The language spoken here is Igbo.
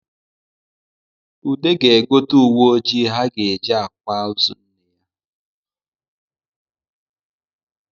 Ude ga-egote uwe ojii ha ga-eji akwa ozo nne ya